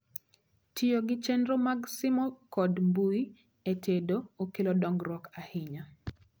Tiyo gi chenro mag simo kod mbui e tedo okelo dongruok ahinya